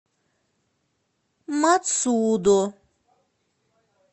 мацудо